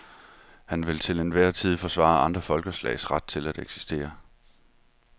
Han vil til en hver tid forsvare andre folkeslags ret til at eksistere.